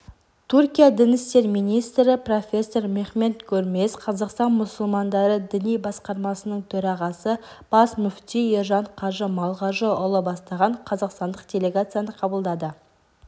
түркия дін істері министрі профессор мехмет гөрмез қазақстан мұсылмандары діни басқармасының төрағасы бас мүфти ержан қажы малғажыұлы бастаған қазақстандық делегацияны қабылдады